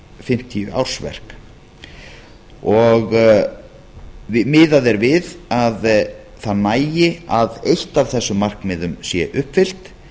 fimmtíu ársverk miðað er við að það nægi að eitt af þessum markmiðum sé uppfyllt